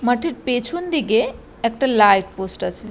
মাঠের পেছন দিকে একটা লাইট পোস্ট আছে।